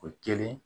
O kelen